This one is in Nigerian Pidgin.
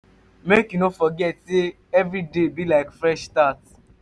mek you no forget sey evriday be like fresh start.